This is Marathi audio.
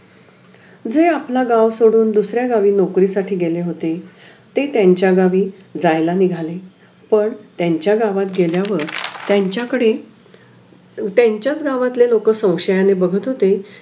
जे आपला गाव सोडून दुसऱ्या गावी नौकरीसाठी गेले होती ते त्यांचा गावी जायला निघाले पण त्यांचा गावात गेल्यावर त्यांचा कडे त्यांचा गावातले लोक संशयाने बघत होते